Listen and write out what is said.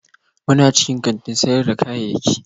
muna cikin kantin sayar da kayayyaki